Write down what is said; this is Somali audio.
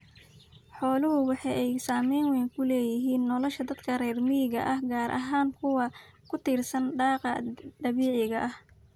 Xooluhu waxay saamayn weyn ku leeyihiin nolosha dadka reer miyiga ah, gaar ahaan kuwa ku tiirsan daaqa dabiiciga ah.